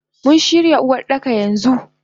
Muna shirya Uwardaka yanxu.